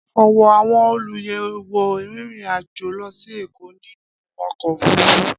Ọ̀wọ́ àwọn olùyẹ̀wò rìnrìn àjò lọ sí Èkó nínú ọkọ̀ òfurufú.